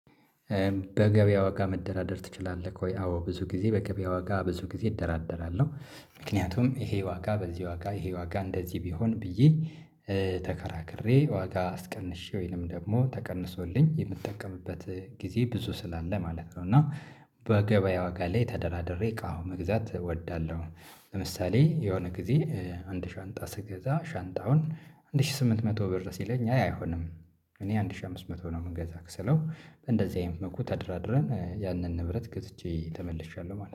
በገበያ ዋጋ መደራደር ትችላለክ ወይ? አዎ ብዙ ጊዜ በገበያ ዋጋ ብዙ ጊዜ እደራደራለሁ ምክንያቱም ይሄ ዋጋ በዚህ ዋጋ ይሄ ዋጋ እንደዚህ ቢሆን ብዬ ተከራክሬ ዋጋ አስቀንሼ ወይንም ደግሞ ተቀንሶልኝ የምጠቀምበት ጊዜ ብዙ ስላለ ማለት ነው። እና በገበያ ዋጋ ላይ ተደራድሬ እቃው መግዛት እወዳለሁ። ለምሳሌ የሆነ ጊዜ አንድ ሻንጣ ስገዛ ሻንጣውን አንድ ሺህ ስምንት መቶ ብር ሲለኝ አይ አይሆንም። እኔ አንድ ሺህ አምስት መቶ ነው የምገዛክ ስለው። እንደዚህ አይነት መልኩ ተደራድረን ያንን ንብረት ገዝቼ ተመልሻለሁ ማለት ነው